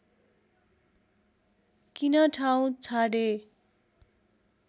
किन ठाउँ छाडे